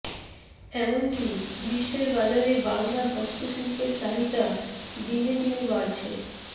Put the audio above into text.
এমনকী বিশ্বের বাজারে বাংলার হস্তশিল্পের চাহিদা দিনে দিনে বাড়ছে